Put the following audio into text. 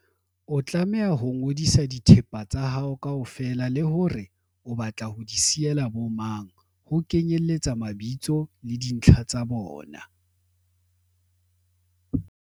O tlameha ho ngodisa dithepa tsa hao kaofela le hore o batla ho di siyela bomang, ho kenyeletsa mabitso le dintlha tsa bona.